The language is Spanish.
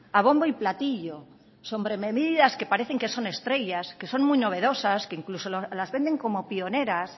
a bombo y platillo sobre medidas que parecen que son estrellas que son muy novedosas que incluso las venden como pioneras